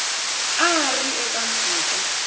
a a ri eka mpfhuka